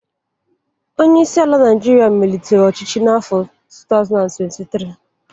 Onye isi ala Naijiria malitere ọchịchị n'afọ 2023.